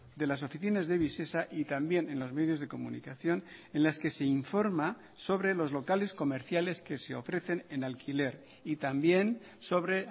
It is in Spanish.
de las oficinas de visesa y también en los medios de comunicación en las que se informa sobre los locales comerciales que se ofrecen en alquiler y también sobre